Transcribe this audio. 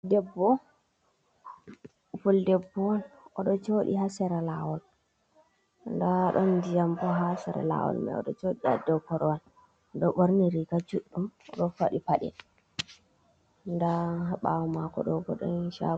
Debbo pul debbo oɗo joɗi ha sara lawol nda ɗon ndiyam bo ha sara lawol mai, oɗo jodi ha dow korwal oɗo borni riga juɗɗum, ɗo faɗi paɗe, nda ha bawow mako ɗo bo ɗon shago.